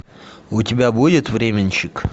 у тебя будет временщик